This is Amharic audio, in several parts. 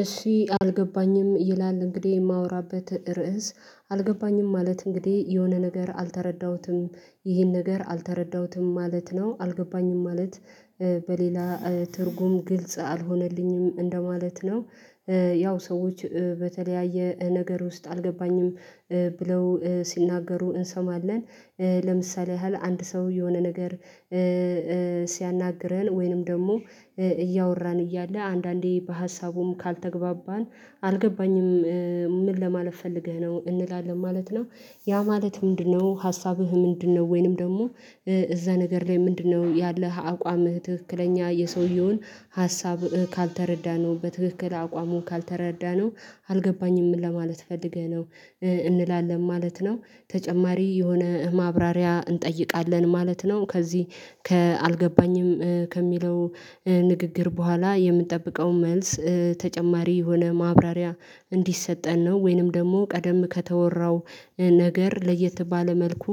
እሺ አልገባኝም ይላል እንግዲህ የማወራበት ርዕስ አልገባኝም ማለት እንግዲህ የሆነ ነገር አልተረዳሁትም ይህን ነገር አልተረዳሁትም ማለት ነው አልገባኝም ማለት በሌላ ትርጉም ግልጽ አልሆነልኝም እንደማለት ነው። ያው ሰዎች በተለያየ ነገር ውስጥ አልገባኝም ብለው ሲናገሩ እንሰማለን ለምሳሌ ያህል አንድ ሰው የሆነ ነገር ሲያናግረን ወይንም ደግሞ እያወራን እያለ አንዳንዴ በሀሳቡም ካልተግባባን አልገባኝም ምን ለማለት ፈልገህ ነው እንላለን ማለት ነው። ያ ማለት ምንድነው ሀሳብህ ምንድነው? ወይንም ደግሞ እዛ ነገር ላይ ምንድነው? ያለህ አቋምህ ትክክለኛ የሰውየውን ሀሳብ ካልተረዳነው በትክክል አቋሙ ካልተረዳነው አልገባኝም ለማለት ፈልገህ ነው እንላለን ማለት ነው። ተጨማሪ የሆነ ማብራሪያ እንጠይቃለን ማለት ነው። ከዚህ አልገባኝም ከሚለው ንግግር በኋላ የምንጠብቀው መልስ ተጨማሪ የሆነ ማብራሪያ እንዲሰጠን ነው ወይንም ደግሞ ቀደም ከተወራው ነገር ለየት ባለ መልኩ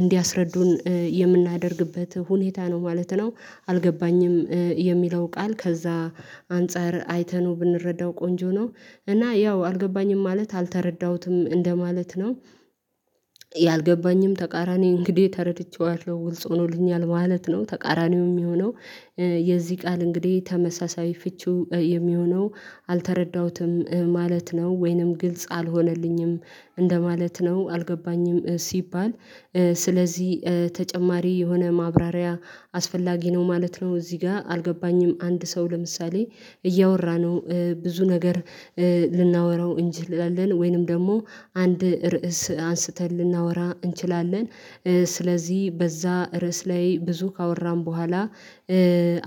እንዲያስረዱን የምናደርግበት ሁኔታ ነው ማለት ነው። አልገባኝም የሚለው ቃል ከዛ አንፃር አይተነው ብንረዳው ቆንጆ ነው እና ያው አልገባኝም ማለት አልተረዳሁትም እንደማለት ነው። አልገባኝም ተቃራኒ እንግዲህ ተረድቼዋለው ግልጽ ሆኖልኛል ማለት ነው። ተቃራኒው የሚሆነው የዚህ ቃል እንግዲህ ተመሳሳይ ፍቺው የሚሆነው አልተረዳሁትም ማለት ነው ወይንም ግልጽ አልሆነልኝም እንደማለት ነው አልገባኝም ሲባል ስለዚህ ተጨማሪ የሆነ ማብራሪያ አስፈላጊ ነው ማለት ነው። እዚህ ጋር አልገባኝም አንድ ሰው ለምሳሌ እያወራነው ብዙ ነገር ልናወራው እንጂ ላለን ወይንም ደግሞ አንድ ርዕስ አንስተን ልናወራ እንችላለን። ስለዚህ በዛ ርዕስ ላይ ብዙ ካወራን በኋላ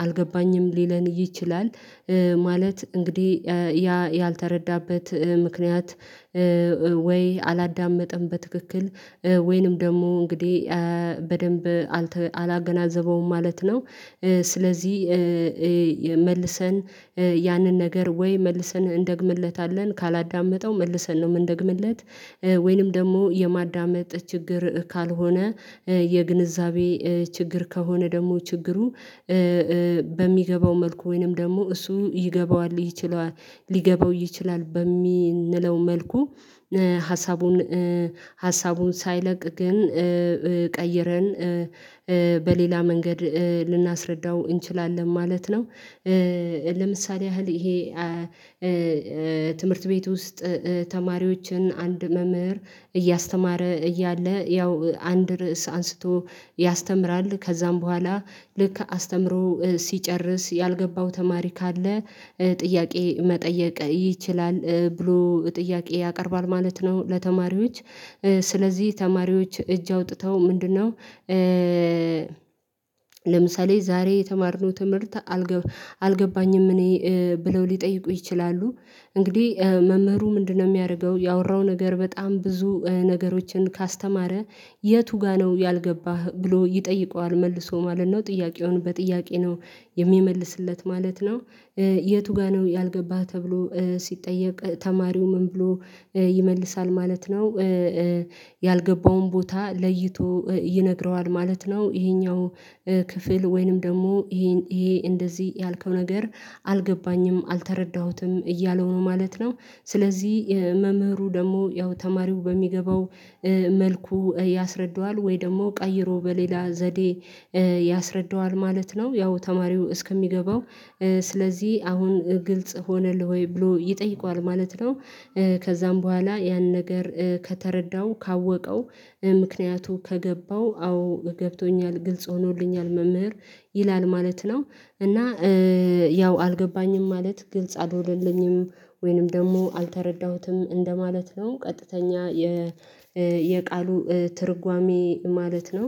አልገባኝም ሊለን ይችላል ማለት እንግዲህ ያ ያልተረዳበት ምክንያት ወይ አላዳመጠም በትክክል ወይንም ደግሞ እንግዲህ በደንብ አላገናዘበውም ማለት ነው። ስለዚህ መልሰን ያንን ነገር ወይ መልሰን እንደግምለታለን ካላዳመጠው መልሰን ነው ምንደግምለት? ወይንም ደግሞ የማዳመጥ ችግር ካልሆነ የግንዛቤ ችግር ከሆነ ደግሞ ችግሩ በሚገባው መልኩ ወይንም ደግሞ እሱ ይገባዋል ይችላል ሊገባው ይችላል በሚንለው መልኩ ሀሳቡን ሀሳቡን ሳይለቅ ግን ቀይረን በሌላ መንገድ ልናስረዳው እንችላለን ማለት ነው። ለምሳሌ ያህል ይሄ ትምህርት ቤት ውስጥ ተማሪዎችን አንድ መምህር እያስተማረ እያለ ያው አንድ ርዕስ አንስቶ ያስተምራል ከዛም በኋላ ልክ አስተምሮ ሲጨርስ ያልገባው ተማሪ ካለ ጥያቄ መጠየቅ ይችላል ብሎ ጥያቄ ያቀርባል ማለት ነው። ለተማሪዎች ስለዚህ ተማሪዎች እጅ አውጥተው ምንድነው? ለምሳሌ ዛሬ የተማርነው ትምህርት አልገ አልገባኝም እኔ ብለው ሊጠይቁ ይችላሉ። እንግዲህ መምህሩ ምንድነው ሚያረገው ያወራው ነገር በጣም ብዙ ነገሮችን ካስተማረ የቱ ጋር ነው ያልገባህ ብሎ ይጠይቀዋል? መልሶ ማለት ነው። ጥያቄውን በጥያቄ ነው የሚመልስለት ማለት ነው የቱ ጋር ነው? ያልገባህ ተብሎ ሲጠየቅ ተማሪው ምን ብሎ ይመልሳል ማለት ነው። ያልገባውን ቦታ ለይቶ ይነግረዋል ማለት ነው። ይሄኛው ክፍል ወይንም ደግሞ ይሄ እንደዚህ ያልከው ነገር አልገባኝም አልተረዳሁትም እያለው ነው ማለት ነው። ስለዚህ መምህሩ ደግሞ ያው ተማሪው በሚገባው መልኩ ያስረዳዋል ወይ ደግሞ ቀይሮ በሌላ ዘዴ ያስረዳዋል ማለት ነው። ያው ተማሪው እስከሚገባው ስለዚህ አሁን ግልጽ ሆነልህ ወይ? ብሎ ይጠይቀዋል ማለት ነው። ከዛም በኋላ ያን ነገር ከተረዳው ካወቀው ምክንያቱ ከገባው አዎ ገብቶኛል ግልጽ ሆኖልኛል መምህር ይላል ማለት ነው። እና ያው አልገባኝም ማለት ግልጽ አድርገልኝም ወይንም ደግሞ አልተረዳሁትም እንደማለት ነው ቀጥተኛ የቃሉ ትርጓሜ ማለት ነው።